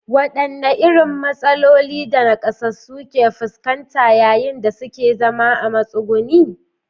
Wadanne irin matsalolin da nakasassu ke fuskanta yayin da suke zama a matsuguni?